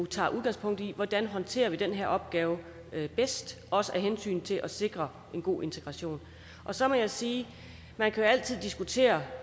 tager udgangspunkt i hvordan håndtere den her opgave bedst også af hensyn til at sikre en god integration så må jeg sige at man altid kan diskutere